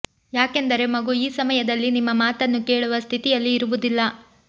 ಯಾಕೆಂದರೆ ಮಗು ಈ ಸಮಯದಲ್ಲಿ ನಿಮ್ಮ ಮಾತನ್ನು ಕೇಳುವ ಸ್ಥಿತಿಯಲ್ಲಿ ಇರುವುದಿಲ್ಲ